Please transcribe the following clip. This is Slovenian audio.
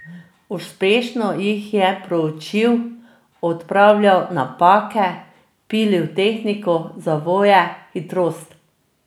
Uspešno jih je proučil, odpravljal napake, pilil tehniko, zavoje, hitrost ...